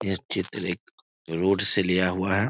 यह चित्र एक रोड से लिया हुआ है।